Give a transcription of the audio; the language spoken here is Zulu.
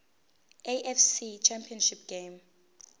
afc championship game